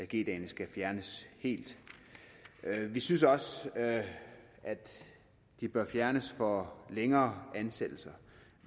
g dagene skal fjernes helt vi synes også at de bør fjernes fra længere ansættelser